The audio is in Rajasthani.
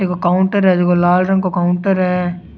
एक काउंटर है जेको लाल रंग को काउंटर है।